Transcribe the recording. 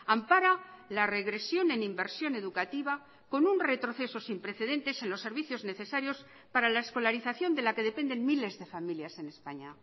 ampara la regresión en inversión educativa con un retroceso sin precedentes en los servicios necesarios para la escolarización de la que dependen miles de familias en españa